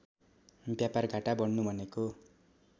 व्यापारघाटा बढ्नु भनेको